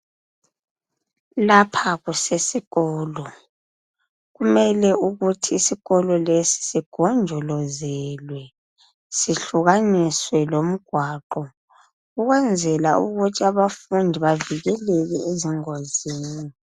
Lapha kusesikolo. Kumele ukuthi isikolo esi sigonjolozelwe sihlukaniswe lomgwaqo ukwenzela ukuthi abafundi bavikeleke ezingozini.